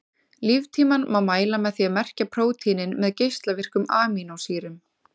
Líftímann má mæla með því að merkja prótínin með geislavirkum amínósýrum.